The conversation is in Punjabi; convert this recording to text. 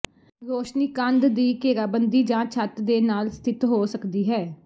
ਰੋਸ਼ਨੀ ਕੰਧ ਦੀ ਘੇਰਾਬੰਦੀ ਜਾਂ ਛੱਤ ਦੇ ਨਾਲ ਸਥਿਤ ਹੋ ਸਕਦੀ ਹੈ